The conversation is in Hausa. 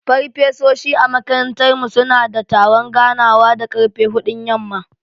Farfesoshi a makarantar mu suna da taron ganawa da ƙarfe huɗun yamma.